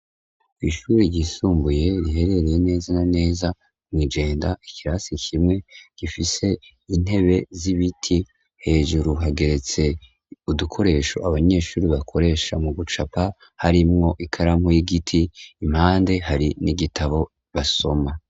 Ishure ryisumbuye riherereye neza naneza mw'igenda ikirasi kimwe gifise intebe z'ibiti hejuru hageretse udukoresho abanyeshure bakoresha mu gucapa harimwo ikaramu y'igiti impande hari n'igitabo basoma.